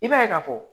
I b'a ye ka fɔ